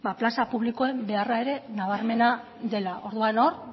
plaza publikoen beharra ere nabarmena dela orduan hor